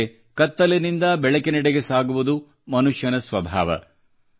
ಆದರೆ ಕತ್ತಲಿನಿಂದ ಬೆಳಕಿನೆಡೆಗೆ ಸಾಗುವುದು ಮನುಷ್ಯನ ಸ್ವಭಾವ